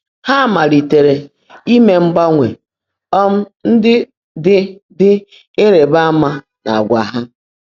Há máliitèèré íme mgbańwé um ndị́ ḍị́ ḍị́ ị́rị́bá ámaá n’àgwà há.